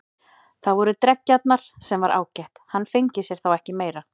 Það voru dreggjarnar, sem var ágætt, hann fengi sér þá ekki meira.